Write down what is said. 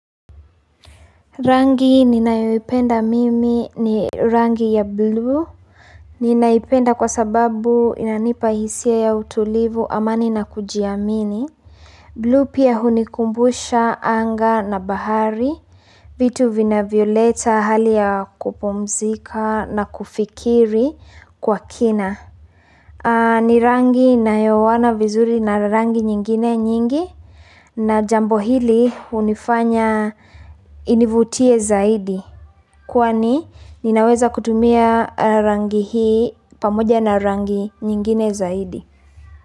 Rangi ninayoipenda mimi ni rangi ya blue ninaipenda kwa sababu inanipa hisia ya utulivu, amani na kujiamini blue pia hunikumbusha anga na bahari vitu vinavyoleta hali ya kupumzika na kufikiri kwa kina ni rangi inayoowana vizuri na rangi nyingine nyingi na jambo hili hunifanya inivutie zaidi kwani ninaweza kutumia rangi hii pamoja na rangi nyingine zaidi.